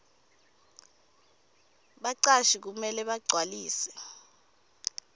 bacashi kumele bagcwalise